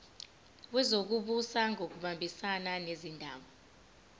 wezokubusa ngokubambisana nezindaba